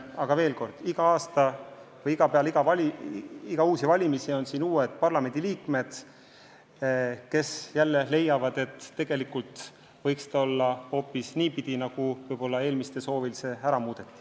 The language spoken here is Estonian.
Aga veel kord: iga kord peale valimisi on siin uued parlamendiliikmed, kes ehk leiavad, et tegelikult võiks eelarve olla just selline, nagu see oli enne seda, kui see eelmise koosseisu soovil ära muudeti.